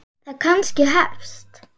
Það kannski hefst.